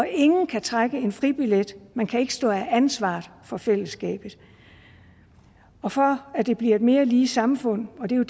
ingen kan trække en fribillet man kan ikke stå af ansvaret for fællesskabet og for at det bliver et mere lige samfund og det er